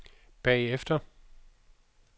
bagefter